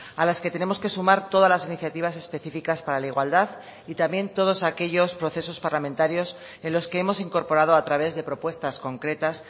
a las que tenemos que sumar todas las iniciativas específicas para la igualdad y también todos aquellos procesos parlamentarios en los que hemos incorporado a través de propuestas concretas